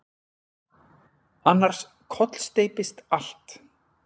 Annars kollsteypist allt.